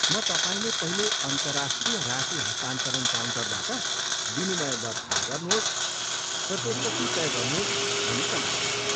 म तपाईँले पहिले अन्तर्राष्ट्रिय राशि हस्तान्तरण काउन्टरबाट विनिमय दर थाहा गर्नुहोस् र त्यसपछि तय गर्नुहोस् भनी सल्लाह दिन्छु।